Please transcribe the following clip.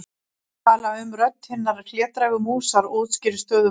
Ég tala með rödd hinnar hlédrægu músar og útskýri stöðu mála.